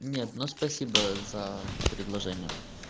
нет но спасибо за предложение